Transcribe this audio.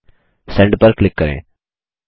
send पर click करें